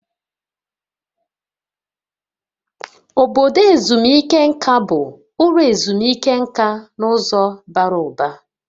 Obodo ezumike nka bụ ụlọ ezumike nka n'ụzọ bara ụba